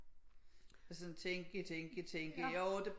Altså sådan tænke tænke tænke jo det